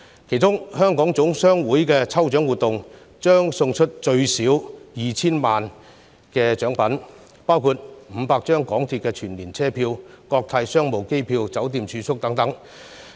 其中，香港總商會的抽獎活動，將送出最少 2,000 萬元的獎品，包括500張港鐵全年車票、國泰商務機票、酒店住宿等。